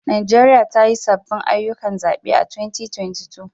Najeriya ta yi sabbin ayyukan zabe a 2022